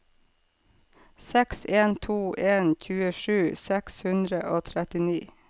seks en to en tjuesju seks hundre og trettini